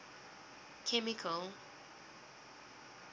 chemical